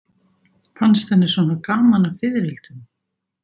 Fannst henni svona gaman að fiðrildum?